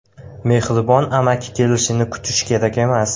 Mehribon amaki kelishini kutish kerak emas.